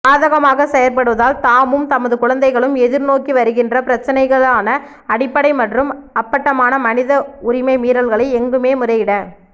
சாதகமாக செயற்படுவதால் தாமும் தமது குழந்தைகளும் எதிர்நோக்கிவருகின்ற பிரச்சினைகளான அடிப்படை மற்றும் அப்பட்டமான மனித உரிமை மீறல்களை எங்குமே முறையிட